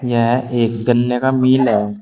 यह एक गन्ने का मिल है।